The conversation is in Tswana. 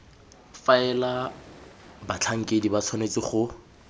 faela batlhankedi ba tshwanetse go